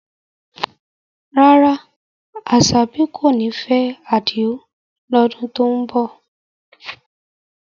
Rárá, Asabi kò ní fẹ́ Adio lọ́dún tó ń bọ̀.